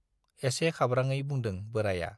एसे खाब्राङै बुंदों बोराइया।